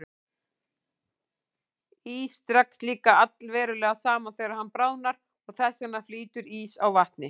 Ís dregst líka allverulega saman þegar hann bráðnar og þess vegna flýtur ís á vatni.